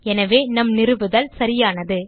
எனவே நம் நிறுவுதல் சரியானது